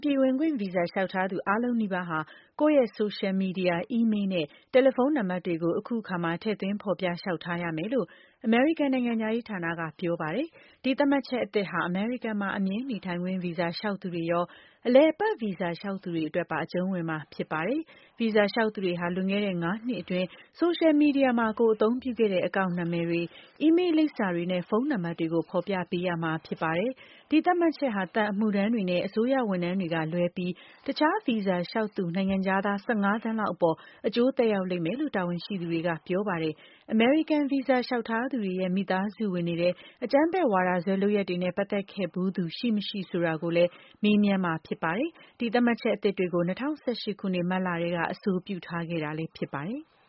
ပြည်ဝင်ခွင့်ဗီဇာ လျှောက်ထားသူ အားလုံးနီးပါးဟာ ကိုယ့်ရဲ့ ဆိုရှယ်မီဒီယာ၊ အီးမေးလ်နဲ့ တယ်လီဖုန်းနံပါတ်တွေကို အခုအခါမှာ ထည့်သွင်းဖော်ပြ လျှောက်ထားရမယ်လို့ အမေရိကန်နိုင်ငံခြားရေးဌာနက ပြောပါတယ်။ ဒီသတ်မှတ်ချက်အသစ်ဟာ အမေရိကန်မှာ အမြဲနေထိုင်ခွင့်ဗီဇာ လျောက်သူတွေရော၊ အလည်အပတ်ဗီဇာလျောက်သူတွေအတွက်ပါ အကျုံးဝင်မှာဖြစ်ပါတယ်။ ဗီဇာ လျောက်သူတွေဟာ လွန်ခဲ့တဲ့ ၅ နှစ်အတွင်း ဆိုရှယ်မီဒီယာမှာ ကိုယ်အသုံးပြုခဲတဲ့ အကောင့်နာမည်တွေ၊ အီးမေးလ်လိပ်စာတွေနဲ့ ဖုန်းနံပါတ်တွေကို ဖော်ပြပေးရမှာ ဖြစ်ပါတယ်။ ဒီသတ်မှတ်ချက်ဟာ သံအမှုထမ်းတွေနဲ့ အစိုးရဝန်ထမ်းတွေကလွဲပြီး တခြား ဗီဇာလျောက်သူ နိုင်ငံခြားသား ၁၅ သန်းလောက်အပေါ် အကျိုးသက်ရောက်လိမ့်မယ်လို့ တာဝန်ရှိသူတွေက ပြောပါတယ်။ အမေရိကန်ဗီဇာ လျှောက်ထားသူတွေရဲ့ မိသားစုဝင်တွေထဲ အကြမ်းဖက်ဝါဒစွဲလုပ်ရပ်တွေနဲ့ ပတ်သက်ခဲ့ဖူးသူရှိမရှိ ဆိုတာကိုလည်း မေးမြန်းမှာ ဖြစ်ပါတယ်။ ဒီသတ်မှတ်ချက်အသစ်တွေကို ၂၀၁၈ ခုနှစ်၊ မတ်လကတည်းက အဆိုပြုထားခဲ့တာဖြစ်ပါတယ်။